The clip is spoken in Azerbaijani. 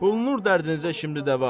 Bulunur dərdinizə şimdi dəva.